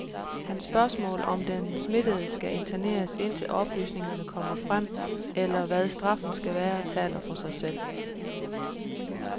Hans spørgsmål, om den smittede skal interneres indtil oplysninger kommer frem eller hvad straffen skal være, taler for sig selv.